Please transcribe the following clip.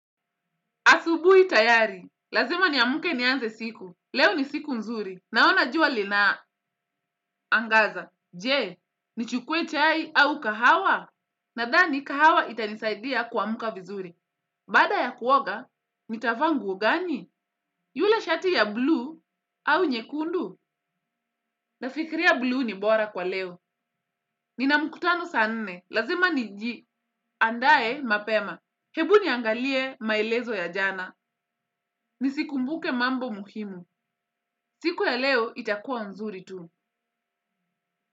Asubuhi tayari. Lazima niamke nianze siku. Leo ni siku nzuri. Naona jua linaangaza. Je, nichukue chai au kahawa? Nadhani kahawa itanisaidia kuamka vizuri. Baada ya kuoga, nitavaa nguo gani? Yule shati ya blue au nyekundu? Nafikiria blue ni bora kwa leo. Ninamkutano saa nne. Lazima niji. Andae mapema. Hebu niangalie maelezo ya jana. Nisikumbuke mambo muhimu. Siku ya leo itakuwa nzuri tu.